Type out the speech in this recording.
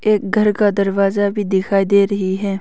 एक घर का दरवाज़ा भी दिखाई दे रही है।